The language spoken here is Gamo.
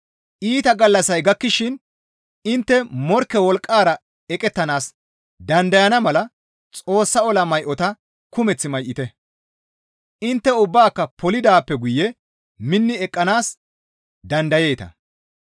Iita gallassay gakkishin intte morkke wolqqara eqettanaas dandayana mala Xoossa ola may7ota kumeth may7ite; intte ubbaaka polidaappe guye minni eqqanaas dandayeeta.